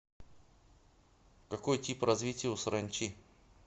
какой тип развития у саранчи